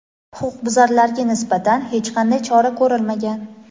Huquqbuzarlarga nisbatan hech qanday chora ko‘rilmagan.